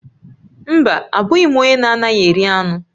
Mba, abụghị m onye na-anaghị eri anụ